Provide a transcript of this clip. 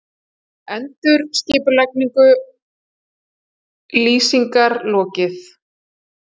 Endurskipulagningu Lýsingar lokið